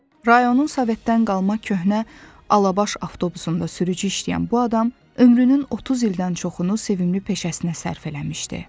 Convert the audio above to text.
Rayonun sovetdən qalma köhnə alabash avtobusunda sürücü işləyən bu adam ömrünün 30 ildən çoxunu sevimli peşəsinə sərf eləmişdi.